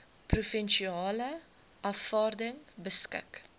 provinsiale afvaarding beskik